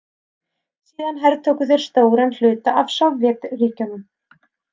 Síðan hertóku þeir stóran hluta af Sovétríkjunum.